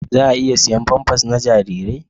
Za a iya siyan famfas na jarirai?